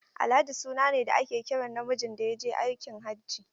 Alhaji suna ne da ake kiran namijin da ya je aikin hajji.